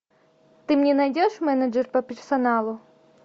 ты мне найдешь менеджер по персоналу